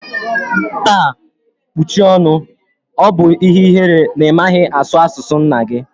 Taa kpuchie ọṅụ! Ọ bụ ihe ihere na ị maghị asụ asụ nna gi